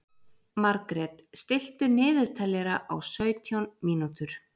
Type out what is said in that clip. Margret, stilltu niðurteljara á sautján mínútur.